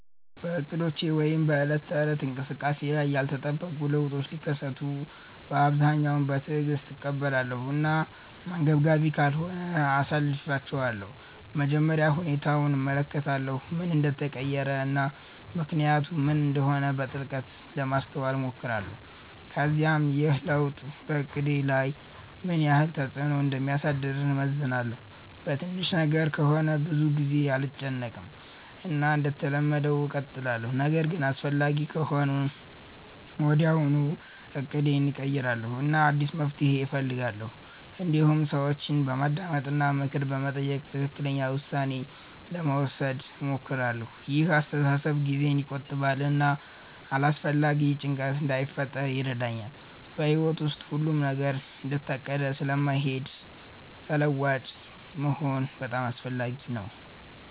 በእቅዶቼ ወይም በዕለት ተዕለት እንቅስቃሴዬ ላይ ያልተጠበቁ ለውጦች ሲከሰቱ በአብዛኛው በትዕግስት እቀበላለሁ እና አንገብጋቢ ካልሆነ አሳልፊቻለሁ መጀመሪያ ሁኔታውን እመለከታለሁ ምን እንደተቀየረ እና ምክንያቱ ምን እንደሆነ በጥልቀት ለማስተዋል እሞክራለሁ ከዚያም ይህ ለውጥ በእቅዴ ላይ ምን ያህል ተፅዕኖ እንደሚያሳድር እመዝናለሁ በትንሽ ነገር ከሆነ ብዙ ጊዜ አልጨነቅም እና እንደተለመደው እቀጥላለሁ ነገር ግን አስፈላጊ ከሆነ ወዲያውኑ እቅዴን እቀይራለሁ እና አዲስ መፍትሔ እፈልጋለሁ እንዲሁም ሰዎችን በማዳመጥ እና ምክር በመጠየቅ ትክክለኛ ውሳኔ ለመውሰድ እሞክራለሁ ይህ አስተሳሰብ ጊዜን ይቆጥባል እና አላስፈላጊ ጭንቀት እንዳይፈጥር ይረዳኛል በሕይወት ውስጥ ሁሉም ነገር እንደታቀደ ስለማይሄድ ተለዋዋጭ መሆን በጣም አስፈላጊ ነው